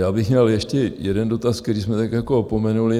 Já bych měl ještě jeden dotaz, který jsme tak jako opomenuli.